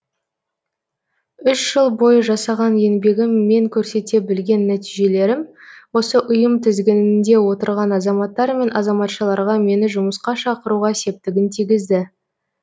үш жыл бойы жасаған еңбегім мен көрсете білген нәтижелерім осы ұйым тізгінінде отырған азаматтар мен азаматшаларға мені жұмысқа шақыруға септігін тигізді